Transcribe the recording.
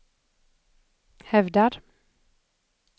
hävdar